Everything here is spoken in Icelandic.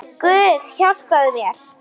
Guð hjálpi mér.